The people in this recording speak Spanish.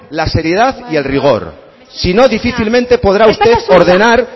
la seriedad y el rigor si no difícilmente podrá usted ordenar